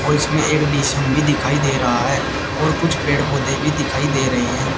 और इसमें एक डि_सी_एम भी दिखाई दे रहा है और कुछ पेड़ पौधे भी दिखाई दे रहे हैं।